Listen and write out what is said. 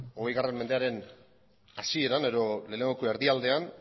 hogei mendearen hasieran edo lehenengoko erdialdean